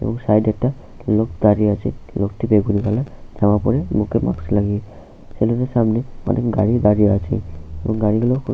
Side একটা লোক দাঁড়িয়ে আছে লোকটি বেগুনি কালার জামা পরে মুখে মাস্ক লাগিয়ে সেলুনের সামনে অনেক গাড়ি দাঁড়িয়ে আছে গাড়িগুলি।